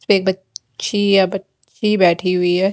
एक बच्ची या बच्ची बैठी हुई है।